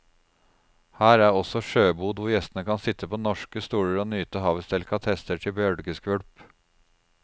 Her er også en sjøbod hvor gjestene kan sitte på norske stoler og nyte havets delikatesser til bølgeskvulp.